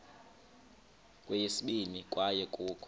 kweyesibini kwaye kukho